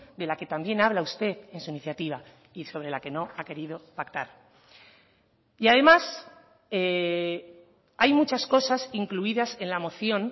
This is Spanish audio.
de la que también habla usted en su iniciativa y sobre la que no ha querido pactar y además hay muchas cosas incluidas en la moción